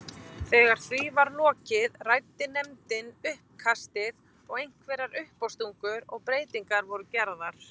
Þegar því var lokið ræddi nefndin uppkastið og einhverjar uppástungur og breytingar voru gerðar.